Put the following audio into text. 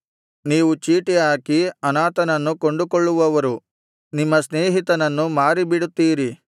ನೀವು ಚೀಟಿಹಾಕಿ ಅನಾಥನನ್ನು ಕೊಂಡುಕೊಳ್ಳುವವರು ನಿಮ್ಮ ಸ್ನೇಹಿತನನ್ನು ಮಾರಿಬಿಡುತ್ತೀರಿ